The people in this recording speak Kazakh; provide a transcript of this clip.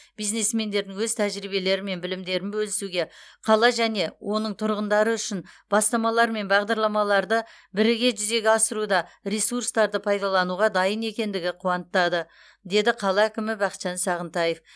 бизнесмендердің өз тәжірибелері мен білімдерін бөлісуге қала және оның тұрғындары үшін бастамалар мен бағдарламаларды бірге жүзеге асыруда ресурстарды пайдалануға дайын екендігі қуантады деді қала әкімі бақытжан сағынтаев